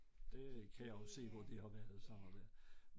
Det kan jeg også se hvor de har været sådan der